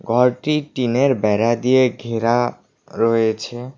ঘরটি টিন -এর বেড়া দিয়ে ঘেরা রয়েছে।